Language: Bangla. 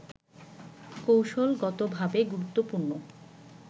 কৌশলগতভাবে গুরুত্বপূর্ণ